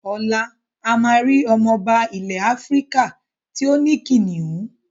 Ọ̀la a máa rí ọmọba ilẹ̀ Áfíríkà tí ó ní kìnnìún?